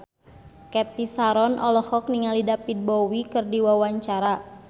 Cathy Sharon olohok ningali David Bowie keur diwawancara